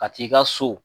Ka t'i ka so